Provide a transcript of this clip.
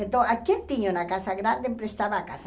Então, a quem tinha uma casa grande emprestava a casa.